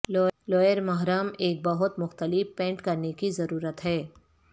lower محرم ایک بہت مختلف پینٹ کرنے کی ضرورت ہے